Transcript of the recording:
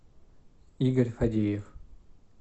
игорь фадеев